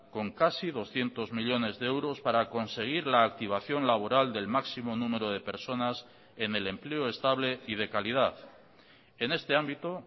con casi doscientos millónes de euros para conseguir la activación laboral del máximo número de personas en el empleo estable y de calidad en este ámbito